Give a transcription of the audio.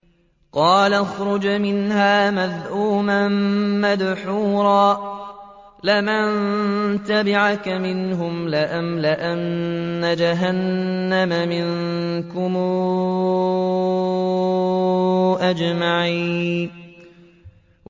قَالَ اخْرُجْ مِنْهَا مَذْءُومًا مَّدْحُورًا ۖ لَّمَن تَبِعَكَ مِنْهُمْ لَأَمْلَأَنَّ جَهَنَّمَ مِنكُمْ أَجْمَعِينَ